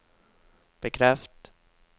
bekreft